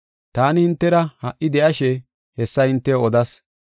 “Taani hintera ha77i de7ashe hessa hintew odas.